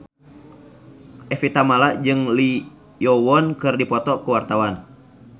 Evie Tamala jeung Lee Yo Won keur dipoto ku wartawan